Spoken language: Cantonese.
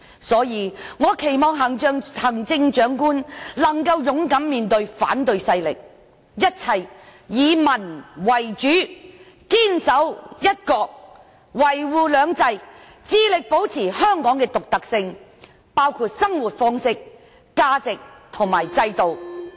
所以，我期望行政長官能夠勇敢面對反對勢力，一切以民為主，堅守"一國"，維護"兩制"，致力保持香港的獨特性，包括生活方式、價值和制度。